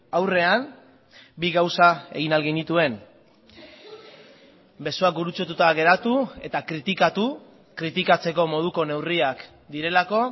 aurrean bi gauza egin ahal genituen besoak gurutzatuta geratu eta kritikatu kritikatzeko moduko neurriak direlako